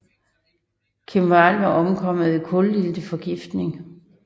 Kim Wall var omkommet ved kulilteforgiftning